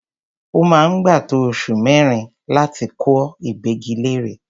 Ó máa ń gbà tó oṣù mẹ́rin láti kọ ìgbẹ́gilére.